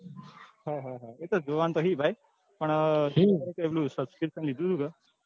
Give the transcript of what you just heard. હા હા એતો જોવા ના તો છે ભાઈ પણ મેં પેલું subscription લીધું હતું કે.